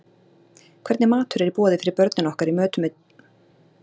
Hvernig matur er í boði fyrir börnin okkar í mötuneytum grunnskólanna?